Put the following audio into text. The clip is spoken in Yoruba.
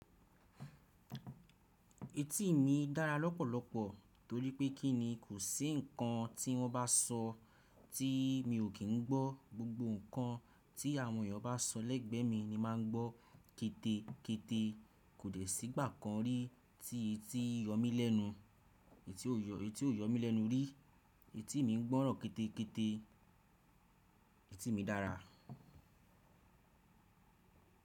Etí mi dára lọ́pọ̀lọpọ̀ torí pé kí ni kò sí ǹkan tí wọ́n bá sọ tí mi ò kì ń gbọ́, gbogbo ǹkan tí àwọn èèyàn bá sọ lẹ́gbẹ́ mi ni màá ń gbọ́ ketekete, kò dẹ́ sí ìgbà kan rí tí etí yọ mí lẹ́nu. Etí ò yọ mí lẹ́nu rí, Etí mi ń gbọ́ràn kẹ́tẹ́kẹ́tẹ́, etí mi dára.